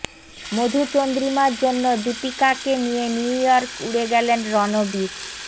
মধুচন্দ্রিমার জন্য দীপিকাকে নিয়ে নিউ ইয়র্ক উড়ে গেলেন রণবীর